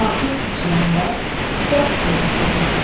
artıq içiləndə dərd verir o da.